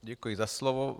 Děkuji za slovo.